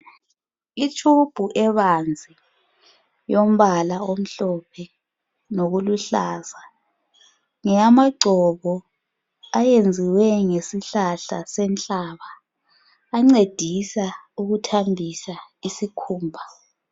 Itshubhu ebanzi yombala omhlophe lokuluhlaza ngeyamagcobo ayenziwe ngesihlahla senhlaba ancedisa ukuthambisa isikhumba.